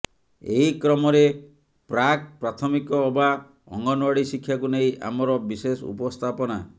ଏହି କ୍ରମରେ ପ୍ରାକ୍ ପ୍ରାଥମିକ ଅବା ଅଙ୍ଗନୱାଡି ଶିକ୍ଷାକୁ ନେଇ ଆମର ବିଶେଷ ଉପସ୍ଥାପନା